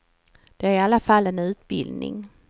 Det är i alla fall en utbildning.